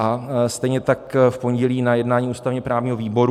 A stejně tak v pondělí na jednání ústavně-právního výboru.